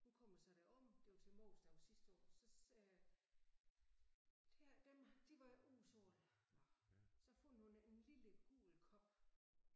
Hun kommer så derom det var til Mors dag sidste år så øh her dem de var udsolgt nåh så fandt hun en lille gul kop